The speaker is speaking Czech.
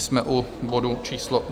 Jsme u bodu číslo